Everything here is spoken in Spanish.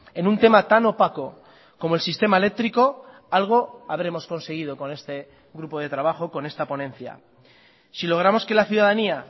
en un tema tan opaco como el sistema eléctrico algo habremos conseguido con este grupo de trabajo con esta ponencia si logramos que la ciudadanía